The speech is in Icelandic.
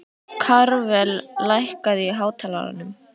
Karvel, lækkaðu í hátalaranum.